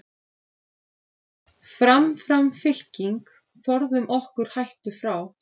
Fram, fram fylking, forðum okkur hættu frá.